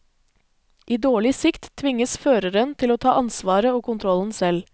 I dårlig sikt, tvinges føreren til å ta ansvaret og kontrollen selv.